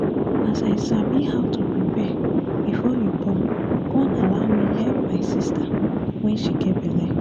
as i sabi how to prepare before you born con allow me help me my sister wen she get belle